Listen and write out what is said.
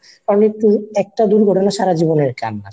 আর নয়তো একটা দুর্ঘটনা সারা জীবনের কান্না